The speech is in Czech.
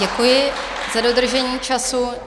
Děkuji za dodržení času.